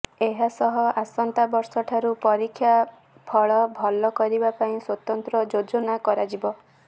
ଏହା ସହ ଆସନ୍ତା ବର୍ଷଠାରୁ ପରୀକ୍ଷା ଫଳ ଭଲ କରିବା ପାଇଁ ସ୍ବତନ୍ତ୍ର ଯୋଜନା କରାଯିବ